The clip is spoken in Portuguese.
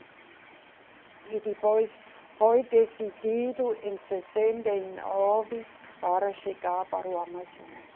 E depois foi decidido, em sessenta e nove, para chegar para o Amazonas.